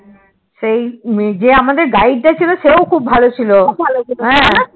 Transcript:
সেই যে আমাদের Guide টা ছিল সেও খুব ভালো ছিল